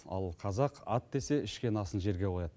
ал қазақ ат десе ішкен асын жерге қояды